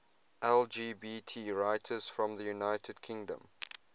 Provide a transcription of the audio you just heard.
lgbt writers from the united kingdom